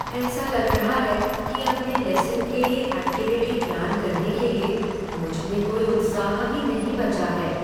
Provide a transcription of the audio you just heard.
ऐसा लग रहा है कि अपने लेसन के लिए ऐक्टिविटी प्लान करने के लिए, मुझ में कोई उत्साह ही नहीं बचा है।